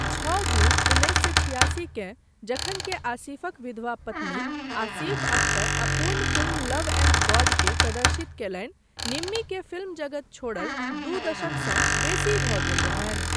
छओ जून उनैस सए छियासी केँ जखन के आसिफक विधवा पत्नी आसिफ अख्तर अपूर्ण फिल्म लव एण्ड गॉडके प्रदर्शित कयलनि, निम्मीकेँ फिल्म जगत छोड़ल दू दशकसँ बेसी भऽ गेल रहनि।